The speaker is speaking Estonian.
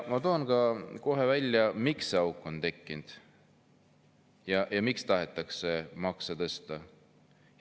Toon välja selle, miks see auk on tekkinud ja miks tahetakse makse tõsta.